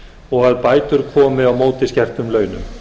og að bætur komi á móti skertum launum